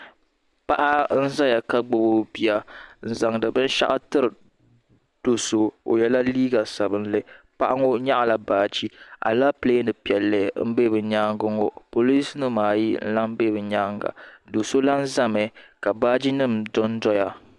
Paɣa n zaya ka gbibi o bia n zaŋdi binshaɣu tiri do'so o yela liiga sabinli paɣa ŋɔ nyaɣala baaji Alapilee piɛli m be bɛ nyaanga ŋɔ polinsi nima ayi n lahi be bɛ nyaanga do'so lahi zami ka baaji nima dondoya.